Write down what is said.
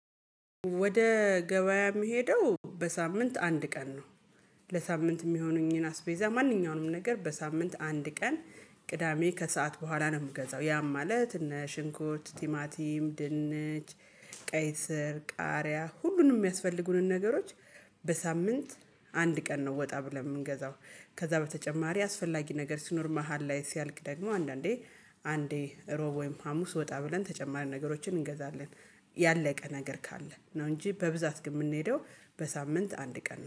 ወደ ገበያ የምሄደው በሳምንት አንድ ቀን ነው። ለሳምንት የሚሆኑኝን አስቤዛ ማንኛውንም ነገር በሳምንት አንድ ቀን ቅዳሜ ከሰአት በኋላ ነው የምገዛው ያም ማለት እነ ሽንኩርት ቲማቲም ድንች ቀይ ስር ቃሪያ ሁሉንም የሚያስፈልጉንን ነገሮች በሳምንት አንድ ቀን ነው ወጣ ብለን የምንገዛው። ከዚያ በተጨማሪ አስፈላጊ ነገር ሲኖር መሃል ላይ ሲያልቅ ደግሞ አንዳንዴ አንዴ እሮብ ወይም ሀሙስ ወጣ ብለን ተጨማሪ ነገሮችን እንገዛለን። ያለቀ ነገር ካለ ነው እንጂ በብዛት ግን የምንሄደው በሳምንት አንድ ቀን